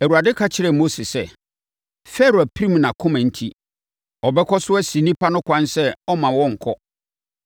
Awurade ka kyerɛɛ Mose sɛ, “Farao apirim nʼakoma enti, ɔbɛkɔ so asi nnipa no ɛkwan sɛ ɔremma wɔnkɔ.